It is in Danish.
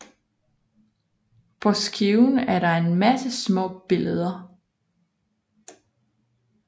På skiven er der en masse små billeder